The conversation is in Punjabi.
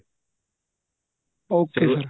okay sir